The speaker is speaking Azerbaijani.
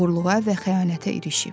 oğurluğa və xəyanətə irişib.